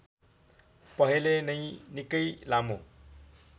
पहले नै निकै लामो